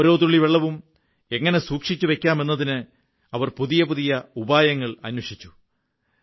ഓരോ തുള്ളി വെള്ളവും എങ്ങനെ സൂക്ഷിച്ചുവയ്ക്കാമെന്നതിന് അവർ പുതിയ പുതിയ ഉപായങ്ങൾ അന്വേഷിച്ചു